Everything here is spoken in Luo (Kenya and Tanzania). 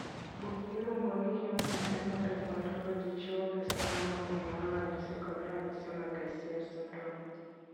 Buk miluongo ni Human Phenotype Ontology chiwo list ma luwoni mar ranyisi kod ranyisi mag ICF syndrome.